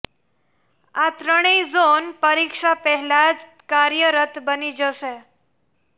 આ ત્રણેય ઝોન પરીક્ષા પહેલા જ કાર્યરત બની જશે